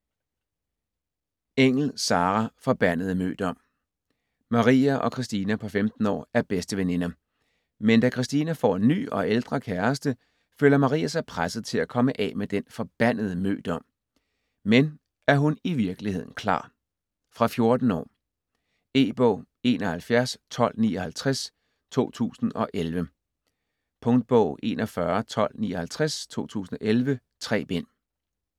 Engell, Sarah: Forbandede mødom Maria og Christina på 15 år er bedsteveninder, men da Christina får en ny og ældre kæreste, føler Maria sig presset til komme af med den forbandede mødom. Men er hun i virkeligheden klar? Fra 14 år. E-bog 711259 2011. Punktbog 411259 2011. 3 bind.